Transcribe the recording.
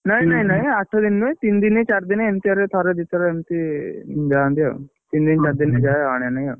ନାଇଁ ନାଇଁ ନାଇଁ, ଆଠ ଦିନ ନୁହଁ, ତିନ ଦିନ ଚାରି ଦିନ ଏମତିଆରେ ଥରେ ଦିଥର ଏମତି ଯାଆନ୍ତି ଆଉ, ତିନି ଦିନେ ଚାରି ଦିନେ ଯାଏ ଆଣେ ନାଇଁ ଆଉ।